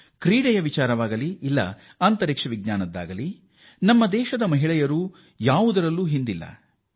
ಕ್ರೀಡೆಯ ವಿಚಾರವಾಗಲೀ ಬಾಹ್ಯಾಕಾಶದ ವಿಚಾರವೇ ಇರಲಿ ನಮ್ಮ ದೇಶದ ಮಹಿಳೆಯರು ಯಾವುದರಲ್ಲೂ ಕಡಿಮೆ ಇಲ್ಲ